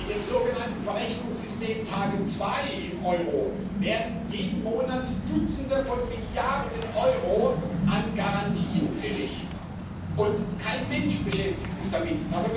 In dem sogenannten Verrechnungssystem TARGET2 im Euro werden jeden Monat Dutzende von Milliarden Euro an Garantien fällig, und kein Mensch beschäftigt sich damit.